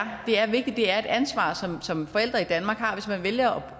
vigtigt at det er et ansvar som som forældre i danmark har hvis man vælger